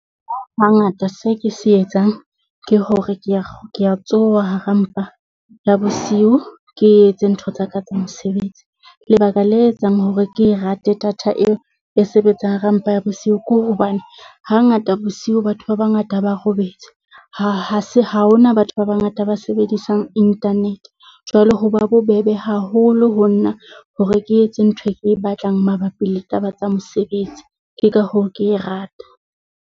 Hangata se ke se etsang ke hore, ke ya ke ya tshoha hara mpa ya bosiu, ke etse ntho tsa ka tsa mosebetsi, lebaka le etsang hore ke rate data eo e sebetsang hara mpa ya bosiu. Ke hobane hangata bosiu batho ba bangata ba robetse ha ha se ha hona batho ba bangata ba sebedisang internet. Jwale ho ba bobebe haholo ho nna hore ke etse ntho ke e batlang mabapi le taba tsa mosebetsi. Ke ka hoo ke e rata.